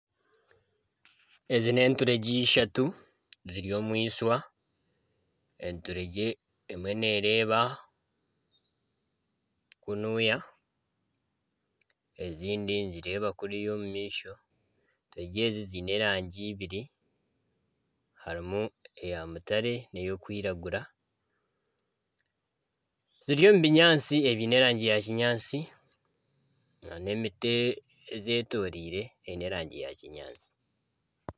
Ezi n'eturengye ishatu ziri omwishwa enturegye emwe nereeba kunuuya ezindi nizireeba kuriya omu maisho enturegye ezi ziine erangi eibiri harimu eya mutare n'ey'okwiragura ziri omu binyaatsi ebyine erangi ya kinyaatsi na n'emiti ezetoreire eine erangi yakinyaatsi.